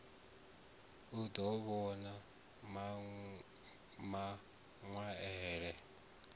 u ḓo vhan a maṅwaelo